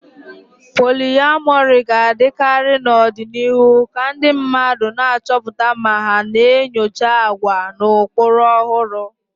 Polyamory ga-adịkarị n'ọdịnihu ka ndị mmadụ na-achọpụta ma na-enyocha àgwà na ụkpụrụ ọhụrụ.